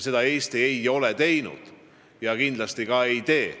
Seda Eesti ei ole teinud ja kindlasti ka ei tee.